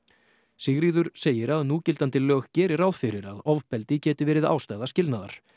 Sigríður segir að núgildandi lög geri ráð fyrir að ofbeldi geti verið ástæða skilnaðar